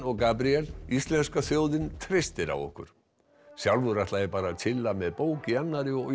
og Gabríel íslenska þjóðin treystir á ykkur sjálfur ætla ég bara að tjilla með bók í annarri og